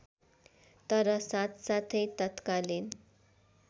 तर साथसाथै तत्कालीन